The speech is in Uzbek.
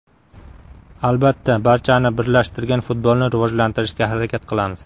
Albatta, barchani birlashtirgan futbolni rivojlantirishga harakat qilamiz.